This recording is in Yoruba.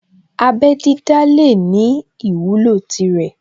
Abẹ́ dídá lè ní ìwúlò tirẹ̀